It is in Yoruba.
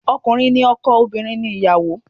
Ọkùnrin ni ọkọ, obìnrin ni ìyàwó